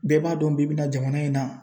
Bɛɛ b'a dɔn bi bɛna jamana in na .